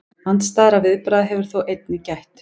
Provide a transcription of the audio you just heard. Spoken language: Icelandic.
Andstæðra viðbragða hefur þó einnig gætt.